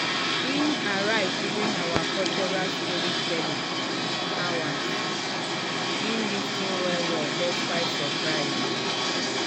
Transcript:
e arrive during our cultural storytelling hour e lis ten well well despite surprise."